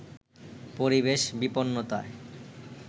পরিবেশ বিপন্নতায়